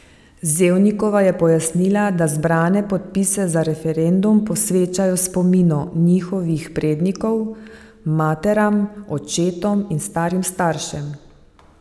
Zevnikova je pojasnila, da zbrane podpise za referendum posvečajo spominu njihovih prednikov, materam, očetom in starim staršem.